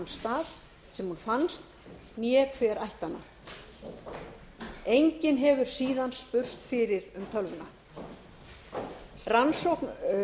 stað sem hún fannst né hver ætti hana enginn hefur síðan spurst fyrir um tölvuna rannsókn